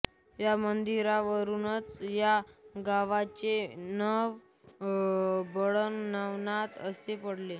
या मंदिरा वरूनच या गावाचे नाव वडवळ नागनाथ असे पडले